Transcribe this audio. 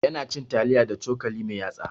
Ya na cin taliya da cokali mai yatsa